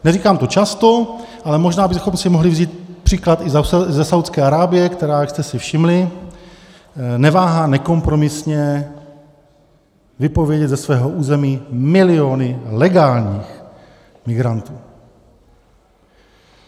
Neříkám to často, ale možná bychom si mohli vzít příklad i ze Saúdské Arábie, která, jak jste si všimli, neváhá nekompromisně vypovědět ze svého území miliony legálních migrantů.